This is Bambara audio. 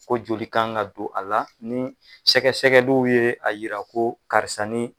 Ko joli ka kan ka don a la ni sɛgɛsɛgɛliw ye a yira ko karisa ni.